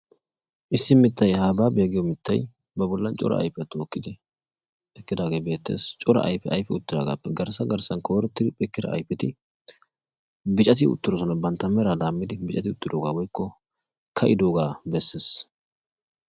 Issi miittay habaabyaa giyoo mittay ba bollan cora ayfiyaa tookkidi eqqidagee beettees. cora ayfiyaagappe garssa garssan koyrroti eqqida ayfetti biccati uttidosona. bantta meraa laammidi biccati uttidooga woykko ka"idoogaa beessees.